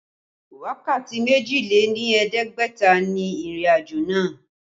Wákàtí méjì lé ní ẹ̀ẹ́dẹ́gbẹ̀ta ni ìrìnàjò náà